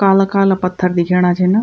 काला काला पत्थर दिखेणा छीन।